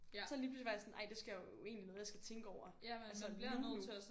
Så lige pludselig var jeg sådan ej det skal jo er jo egentlig noget jeg skal tænke over altså nu nu